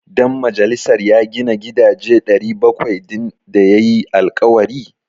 Dan majalisar ya gina gidaje 700 din da ya yi alkawari?